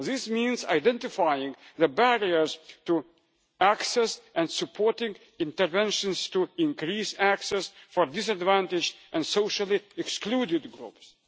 This means identifying the barriers to access and supporting interventions to increase access for disadvantaged and socially-excluded